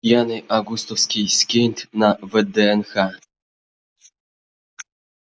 пьяный августовский скейт на вднх